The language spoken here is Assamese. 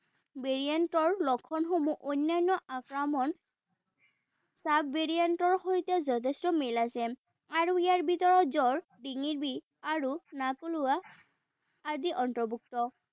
variant ৰ লক্ষণসমূহ অন্যান্য sub variant ৰ সৈতে যথেষ্ঠ মিল আছে। আৰু ইয়াৰ ভিতৰত জ্বৰ, ডিঙিৰ বিষ, আৰু নাক ওলোৱা আদি অন্তৰ্ভুক্ত।